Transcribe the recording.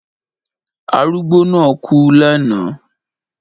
Arugbo na ku lẹ̀na